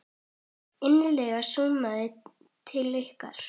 Innileg samúð til ykkar.